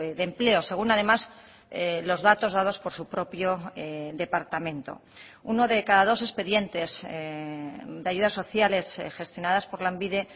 de empleo según además los datos dados por su propio departamento uno de cada dos expedientes de ayudas sociales gestionadas por lanbide